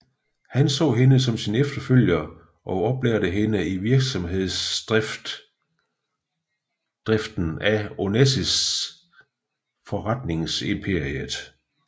Han så hende som sin efterfølger og oplærte hende i virksomhedsdriften af Onassis forretningsimperiet